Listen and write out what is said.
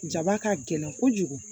Jaba ka gɛlɛn kojugu